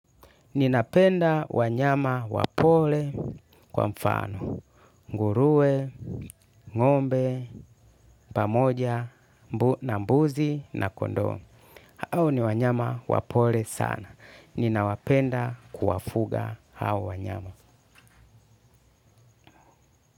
Ninapenda wanyama wapole, kwa mfano. Nguruwe, ng'ombe, pamoja na mbuzi na kondoo. Hao ni wanyama wapole sana. Ninawapenda kuwafuga hao wanyama.